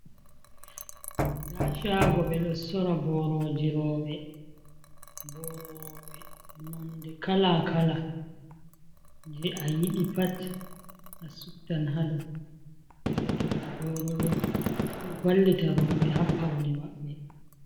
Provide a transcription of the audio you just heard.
Ndaa shaago ɓeɗo sora boroji rowɓe, boro rowɓe nonde kala-kala jei a yiɗi pat a suptan haɗo, ɗoɗo ɗo boro ɗo, ɗo vallita rowɓe haa paune maɓɓe.